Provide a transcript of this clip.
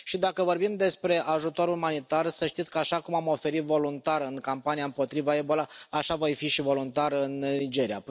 Și dacă vorbim despre ajutor umanitar, să știți că, așa cum m am oferit voluntar în campania împotriva Ebola, așa voi fi și voluntar în Nigeria.